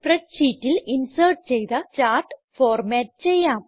spread ഷീറ്റിൽ insert ചെയ്ത chart format ചെയ്യാം